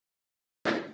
Hanga á hverju?